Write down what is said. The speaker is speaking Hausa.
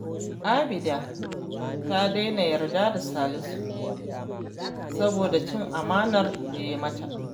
Abida ta daina yarda da Salisu, saboda cin amanar da ya yi mata